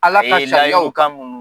Ala ka sariyaw kan